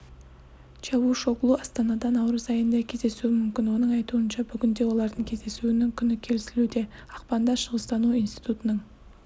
чавушоглу астанада наурыз айында кездесуі мүмкін оның айтуынша бүгінде олардың кездесуінің күні келісілуде ақпанда шығыстану институтының